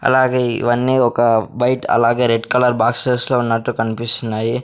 అలాగే ఇవన్నీ ఒక వైట్ అలాగే రెడ్ కలర్ బాక్సెస్ లో ఉన్నట్టు కన్పిస్తున్నాయి.